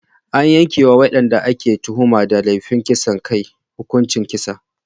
An yanke wa wadanda ake tuhuma da laifin kisan kai hukuncin kisa.